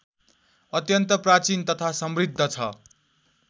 अत्यन्त प्राचीन तथा समृद्ध छ